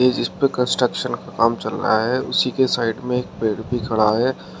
जिस जिस पे कंस्ट्रक्शन का काम चल रहा है उसी के साइड में एक पेड़ भी खड़ा है।